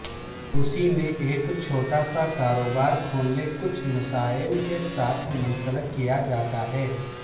روس میں ایک چھوٹا سا کاروبار کھولنے کچھ مسائل کے ساتھ منسلک کیا جاتا ہے